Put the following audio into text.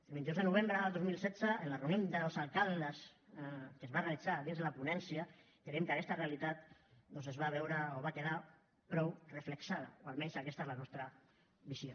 el vint dos de novembre de dos mil setze en la reunió dels alcaldes que es va realitzar dins de la ponència creiem que aquesta realitat es va veure o va quedar prou reflectida o almenys aquesta és la nostra visió